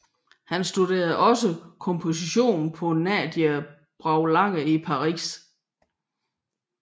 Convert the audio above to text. Han studerede også komposition hos Nadia Boulanger i Paris